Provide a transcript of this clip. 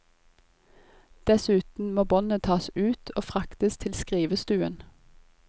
Dessuten må båndet tas ut og fraktes til skrivestuen.